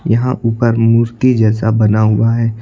यहां उपर मूर्ति जैसा बना हुआ है।